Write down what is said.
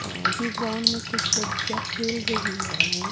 ये ग्राउंड में कुछ लड़कियां खेल रही है।